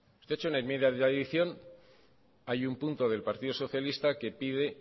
hay un punto del partido socialista que pide